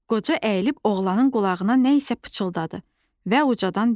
Qoca əyilib oğlanın qulağına nə isə pıçıldadı və ucadan dedi.